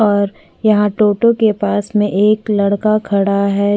और यहाँ टो टो के पास में एक लड़का है।